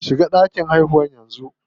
Shiga ɗakin haihuwar yanzu.